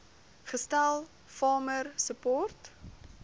gestel farmer support